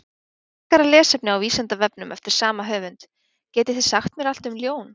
Frekara lesefni á Vísindavefnum eftir sama höfund: Getið þið sagt mér allt um ljón?